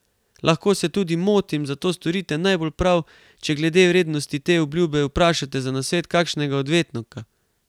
Lahko se tudi motim, zato storite najbolj prav, če glede vrednosti te obljube vprašate za nasvet kakšnega odvetnika.